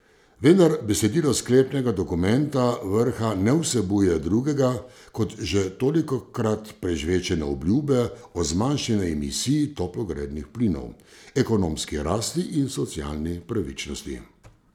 Vendar besedilo sklepnega dokumenta vrha ne vsebuje drugega kot že tolikokrat prežvečene obljube o zmanjšanju emisij toplogrednih plinov, ekonomski rasti in socialni pravičnosti.